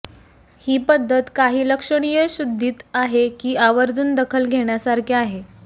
ही पद्धत काही लक्षणीय शुद्धीत आहे की आवर्जून दखल घेण्यासारखे आहे